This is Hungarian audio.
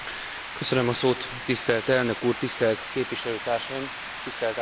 Tisztelt Elnök úr, tisztelt Képviselőtársaim, tisztelt Államtitkár Asszony!